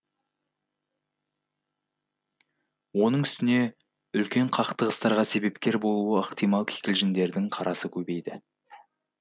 оның үстіне үлкен қақтығыстарға себепкер болуы ықтимал кикілжіңдердің қарасы көбейді